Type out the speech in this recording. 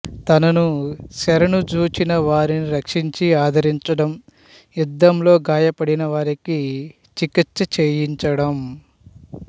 తనను శరణుజొచ్చిన వారిని రక్షించి ఆదరించడం యుద్ధంలో గాయపడిన వారికి చికిత్స చేయించడం